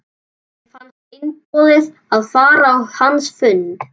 Mér fannst einboðið að fara á hans fund.